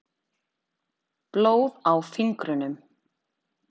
Blóð á fingrunum.